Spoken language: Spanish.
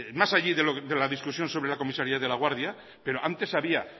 más allá de la discusión sobre la comisaría de laguardia pero antes había